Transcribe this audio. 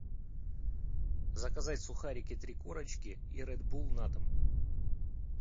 заказать сухарики три корочки и ред булл на дом